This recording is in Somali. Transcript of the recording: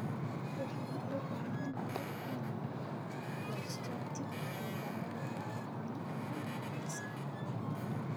waxaan u baahanahay inaan goosto tigidh tareen oo aan aado mombasa